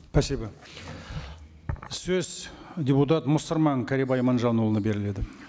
спасибо сөз депутат мұсырман кәрібай иманжанұлына беріледі